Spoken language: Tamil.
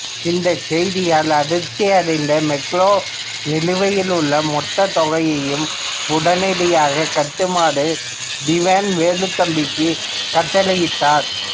இந்த செய்தியால் அதிருப்தி அடைந்த மெக்காலே நிலுவையில் உள்ள மொத்த தொகையையும் உடனடியாக கட்டுமாறு திவான் வேலுத்தம்பிக்கு கட்டளையிட்டார்